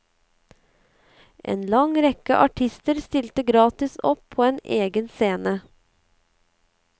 En lang rekke artister stilte gratis opp på en egen scene.